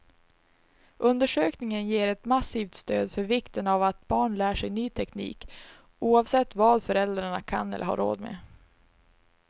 Undersökningen ger ett massivt stöd för vikten av att barn lär sig ny teknik, oavsett vad föräldrarna kan eller har råd med.